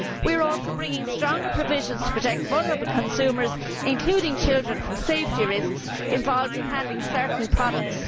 We are also bringing stronger provisions to protect vulnerable consumers, including children, from safety risks involved in handling certain products.